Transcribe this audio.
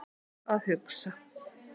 Þar er gott að hugsa